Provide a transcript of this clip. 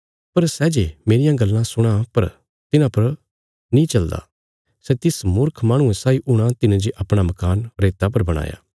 पर सै जे मेरियां गल्लां सुणां पर तिन्हां पर नीं चलदा सै तिस मूर्ख माहणुये साई हूणा तिने जे अपणा मकान रेता पर बणाया